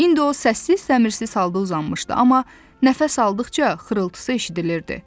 İndi o səssiz-səmirsiz halda uzanmışdı, amma nəfəs aldıqca xırıltısı eşidilirdi.